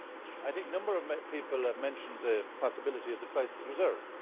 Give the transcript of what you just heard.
I think a number of people have mentioned the possibility of the crisis reserve.